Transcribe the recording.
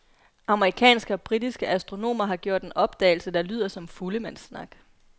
Amerikanske og britiske astronomer har gjort en opdagelse, der lyder som fuldemandssnak.